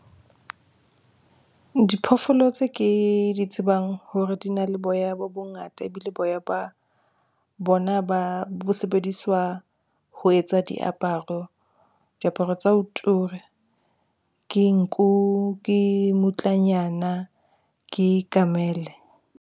Diphoofolo tse ke di tsebang hore di na le boya bo bongata, ebile boya ba bona bo sebediswa ho etsa diaparo. Diaparo tsa ho tura ke nku, ke mmutlanyana, ke kamele.